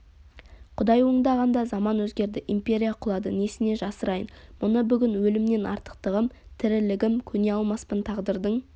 құдай оңдағанда заман өзгерді империя құлады несіне жасырайын мұны бүгін өлімнен артықтығым тірілігім көне алмаспын тағдырдың